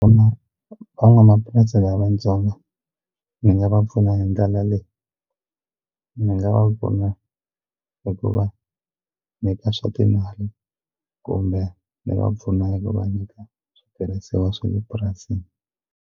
Van'wamapurasi lavatsongo ni nga va pfuna hi ndlela leyi ni nga va pfuna hi ku va nyika swa timali kumbe ni va pfuna hi ku va nyika switirhisiwa swa le purasini.